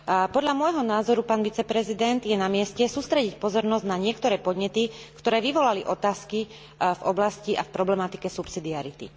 Podľa môjho názoru, pán viceprezident, je na mieste sústrediť pozornosť na niektoré podnety, ktoré vyvolali otázky v oblasti a v problematike subsidiarity.